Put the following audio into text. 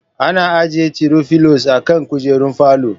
Ana ajjiye tiro filos a kan kujerun falo